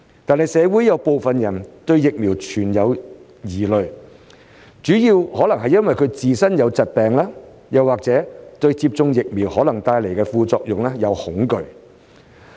然而，社會有部分人對疫苗存在疑慮，主要可能是由於自身有疾病，或是對接種疫苗可能帶來的副作用感到恐懼。